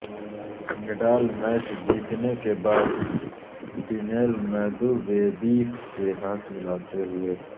Nadal match جیتنے کے بعد ڈینیل میدویدیف سے ہاتھ ملاتے ہوئے